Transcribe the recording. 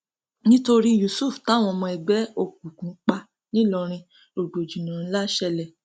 nítorí yusuf táwọn ọmọ ẹgbẹ òkùnkùn pa nìlọrin rògbòdìyàn ńlá ṣẹlẹ